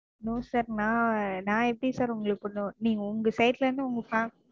No sir நான் நான் எப்படி Sir உங்களுக்கு கொண்டு நீங்க உங்க Side ல இருந்து உங்க Family,